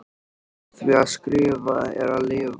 Því að skrifa er að lifa.